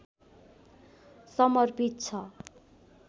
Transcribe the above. समर्पित छ